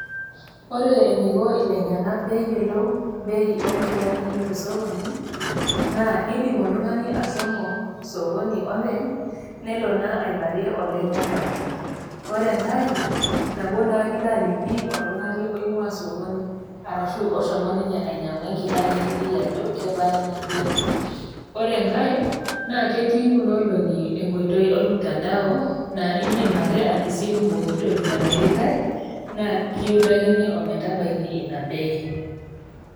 Ore eneiko ilainyangak pee eyiolou bei oo nkilani te sokoni, naa eidim oltung'ani ashomo sokoni openy, nelo naa aiparie olaiyangani . Ore enkai, nabo naa kilo aliki oltung'ani oing'ua sokoni arashu oshomo ninye ainyang'u enkila nekiliki ajo, kebaa Ina bei, ore enkai naa ketii Kuna olong'i enkoitoi olmutandao naa indim ake atisipu pookitoki namirtai naa kiutakini ometabaiki Ina bei.